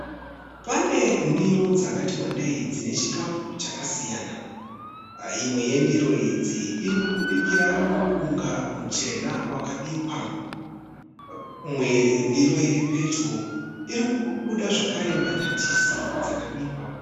Pane ndiro dzakati wandei dzine chikafu chakasiyana imwe yendiro idzi iri kubudikira mupunga muchena wakabikwa imwe yendiro iri pedyo iri kubudika zvakare mbatatisi dzakabikwa.